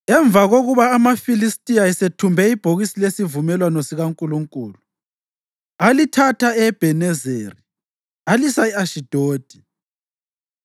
Emva kokuba amaFilistiya esethumbe ibhokisi lesivumelwano sikaNkulunkulu, alithatha e-Ebhenezeri alisa e-Ashidodi.